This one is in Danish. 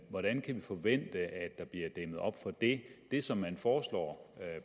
hvordan kan vi forvente at der bliver dæmmet op for det det som man foreslår